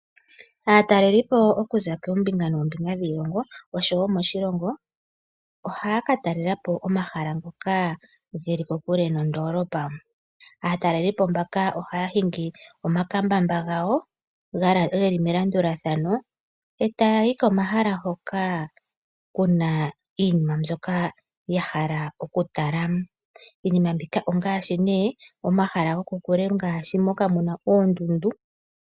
Aataleli okuza koombinga noombinga dhiilongo oshowo moshilongo, ohaya ka talela po omahala ngoka geli kokule nondoolopa. Aatalelipo mbaka ohaya hingi omakambamba gawo geli melandulathano, e taayi komahala hoka kuna iinima mbyoka yahala okutala. Iinima mbika ongaashi ne, omahala gokokule ngaashi moka muna oondundu.